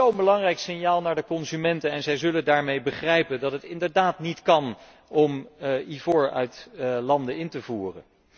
Dat is zo'n belangrijk signaal naar de consumenten en zij zullen daarmee begrijpen dat het inderdaad niet kan, om ivoor uit landen in te voeren.